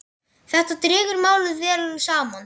Þetta dregur málið vel saman.